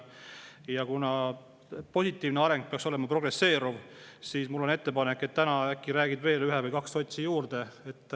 Ja kuna positiivne areng peaks olema progresseeruv, siis mul on ettepanek, et äkki räägid täna veel ühe või kaks sotsi ära.